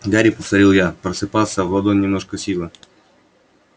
гори повторил я просыпался в ладонь немножко силы